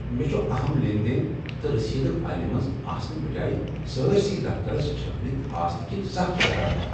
مےٚ چھ اہم لین دین تہٕ رسیدٕ فایلہِ منز آسنہٕ بجایہ سٲرسٕے دفتترس چھٔکرتھ آسنہٕ كِنہِ سخ شرارتھ ۔